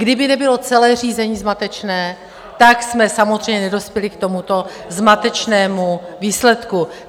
Kdyby nebylo celé řízení zmatečné, tak jsme samozřejmě nedospěli k tomuto zmatečnému výsledku.